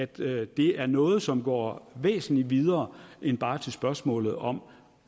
det er noget som går væsentlig videre end bare til spørgsmålet om